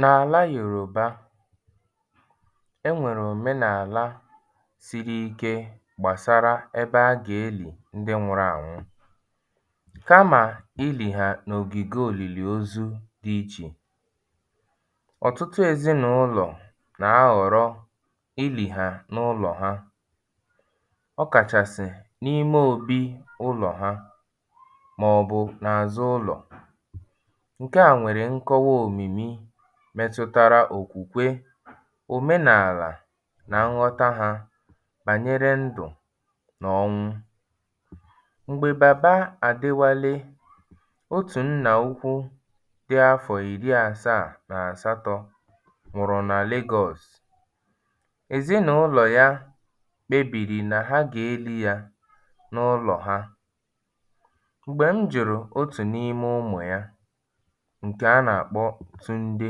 N’àla Yòrùba, e nwèrè òmenàla siri ike gbasarà ebe a gà-elì̀ ndị nwụ̄rụ̄ ànwụ kamà ilì ha n’ògìge òlìlìozu ichè. Ọ̀tụtụ ezinàụlọ̀ nà-ahọ̀rọ ilì hà n’ụlọ̀ ha. ọkàchàsị̀ n’ime ōbī ụlọ̀ ha màọ̀bụ̀ n’azụ̀ ụlọ̀. Nke a nwèrè ṅkọwa òmìmi metụtara òkwùkwe, òmenalàà nà ṅghọta hā bànyere ndụ̀ nà ọnwụ. M̀gbè Bàba Adewale, otù nnà ukwu dị afọ̀ ìri āsāà nà àsatọ̄ nwụ̀rụ̀ nà Legọ̄ọ̀sụ̀, èzinàụlọ̀ ya kpebìrì nà ha gà-elī yā nụ’lọ̀ ha. M̀gbè m jụ̀rụ̀ otù n’ime ụmụ̀ ya nke a nà-àkpọ Tunde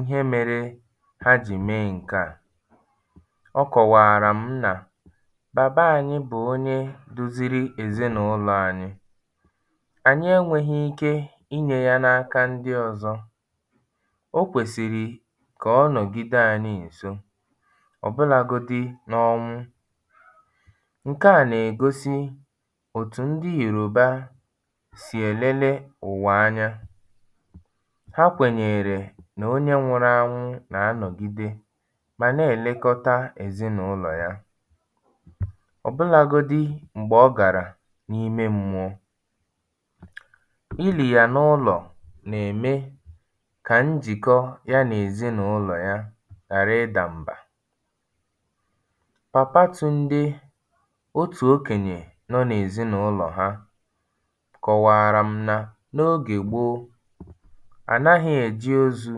ihe mērē ha jì mee ṅ̀ke à, ọ kọ̀wààrà m nà Baba anyī bụ̀ onye duziri èzinàụlọ anyị. Ànyi enwēhī ike inyē yā n’aka ndị ọzọ. O kwèsìrì kà ọ nọ̀gide anyị ǹso ọbụlāgōdī n’ọnwụ. Ṅ̀ke à nà-ègosi òtù ndị Yòrùba sì èlele ụ̀wà anya. Ha kwènyèèrè nà onye nwụ̄rụ̄ ānwụ̄ nà-anọ̀gide mà na-èlekota èzinàụlọ̀ ya. ọ̀bụlāgōdī m̀gbè ọ gàrà n’ime mmụọ.Ilì yà n’ụlọ̀ na-ème ka njìkọ ya nà èzinàụlọ̀ ya ghàra ịdà m̀bà. Papa Tunde, otù okeǹyè nọ n’èzinàụlọ̀ ha kọ̀wààrà m nà n’ogè gboo, à nahā èji ozū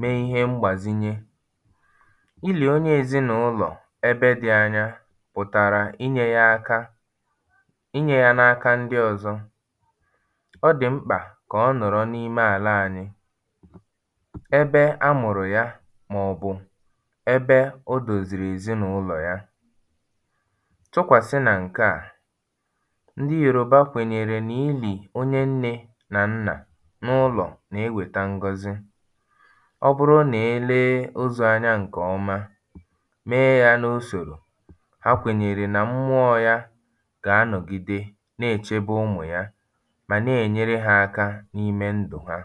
mee ihe mgbàzinye. Ilì onye ezinàụlọ̀ ebe dị̄ ānyā pụ̀tàrà inyē yā ākā inyē yā n’aka ndị ọ̄zọ̄. Ọ dị̀ mkpà kà ọ nọ̀rọ n’ime àla ānyị̄ ebe a mụ̀rụ̀ ya màọ̀bụ̀ ebe o dozìrì èzinàụlọ̀ ya.. Tụkwàsị nà ṅ̀ke à, ndị Yòrùba kwènyèrè nà ilì onye nnē nà nnà n’ụlọ̀ nà-ewèta ṅgọzị. Ọ bụrụ nà e lee ozū anya ṅ̀kè ọ̀ma mee ya n’usòrò, ha kwènyèrè nà m̀mụọ̄ yā gà-anọ̀gide na-èchebe ụmụ̀ ya mà na-ènyere hā aka n’ime ndụ̀ ha.